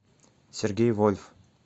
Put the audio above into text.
сергей вольф